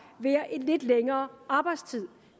med en lidt længere arbejdstid